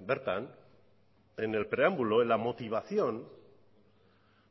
bertan en el preámbulo en la motivación